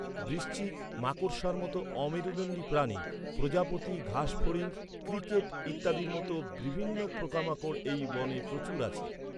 বিছে, মাকড়সার মতো অমেরুদণ্ডী প্রাণী, প্রজাপতি, ঘাসফড়িং, ঝিঁঝিঁ পোকা ইত্যাদির মতো বিভিন্ন পোকামাকড় এই বনে প্রচুর আছে।